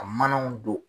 A manaw don